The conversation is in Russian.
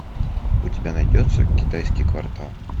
у тебя найдется китайский квартал